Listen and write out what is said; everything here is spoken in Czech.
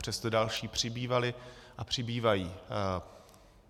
Přesto další přibývaly a přibývají.